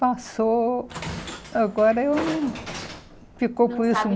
Passou... Agora eu não... Ficou com isso